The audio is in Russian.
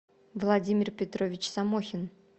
владимир петрович самохин